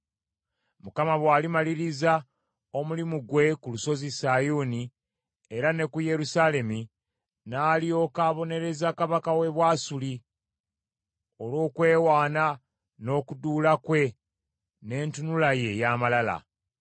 Mukama bw’alimaliriza omulimu gwe ku lusozi Sayuuni era ne ku Yerusaalemi n’alyoka abonereza kabaka w’e Bwasuli olw’okwewaana n’okuduula kwe n’entunula ye ey’amalala.